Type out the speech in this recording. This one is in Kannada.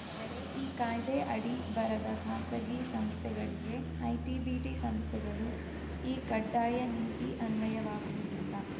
ಆದರೆ ಈ ಕಾಯ್ದೆ ಅಡಿ ಬರದ ಖಾಸಗಿ ಸಂಸ್ಥೆಗಳಿಗೆ ಐಟಿಬಿಟಿ ಸಂಸ್ಥೆಗಳು ಈ ಕಡ್ಡಾಯ ನೀತಿ ಅನ್ವಯ ವಾಗುವುದಿಲ್ಲ